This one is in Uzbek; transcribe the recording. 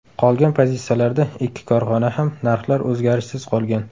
Qolgan pozitsiyalarda ikki korxonada ham narxlar o‘zgarishsiz qolgan.